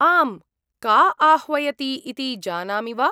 आम्, का आह्वयति इति जानामि वा?